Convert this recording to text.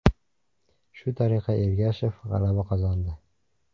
Shu tariqa Ergashev g‘alaba qozondi.